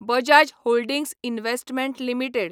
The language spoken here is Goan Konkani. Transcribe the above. Bajaj holdings investment limited